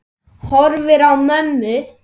Horfi á mömmu.